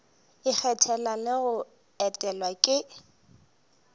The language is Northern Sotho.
ikgethela le go etelwa ke